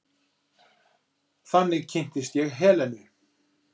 Þannig kynntist ég Helenu.